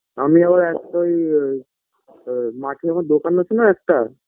আমি আবার একটা ওই আ মাঠের মধ্যে দোকান আছে না একটা